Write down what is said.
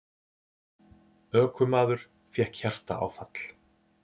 Ökumaður fékk hjartaáfall